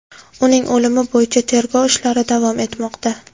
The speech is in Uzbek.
Uning o‘limi bo‘yicha tergov ishlari davom etmoqda.